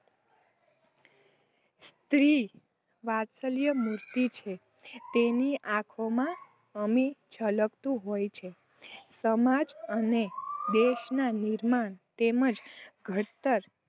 સ્ત્રી વાત્સલ્ય મૂર્તિ છે. તેની આંખોમાં અમી છલકાતું હોય છે. સમાજ અને દેશના નિર્માણ તેમજ ઘડતર